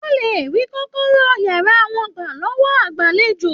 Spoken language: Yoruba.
Wọn lè rí kọ̀kọ̀rọ̀ yàrá wọn gbà lọwọ agbalejo.